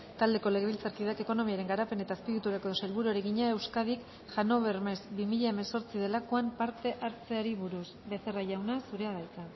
taldeko legebiltzarkideak ekonomiaren garapen eta azpiegituretako sailburuari egina euskadik hannover messe bi mila hemezortzi delakoan parte hartzeari buruz becerra jauna zurea da hitza